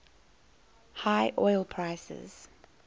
high oil prices